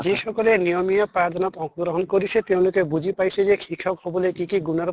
যিসিকলে নিয়মিয়া পাঠ দানত আংশ গ্ৰহন কৰিছে তেওঁলোকে বুজি পাইছে যে শিক্ষক হʼবলে কি কি গুনৰ